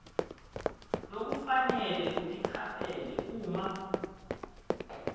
lokufanele uticaphele uma